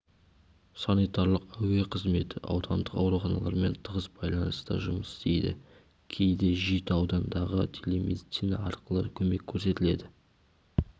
санитарлық әуе қызметі аудандық ауруханалармен тығыз байланыста жұмыс істейді кейде жеті аудандағы телемедицина арқылы көмек көрсетіледі